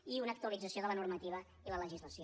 i una actualització de la normativa i la legislació